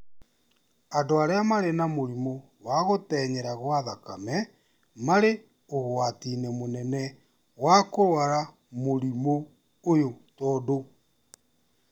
Andũ arĩa marĩ na mũrimũ wa gũtenyera gwa thakame marĩ ũgwati-inĩ mũnene wa kũrũara mũrimũ ũyũ tondũ